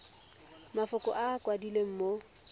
mafoko a a kwadilweng mo